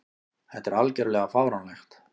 Þetta er algjörlega fáránlegt.